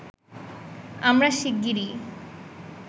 আমরা শিগগিরই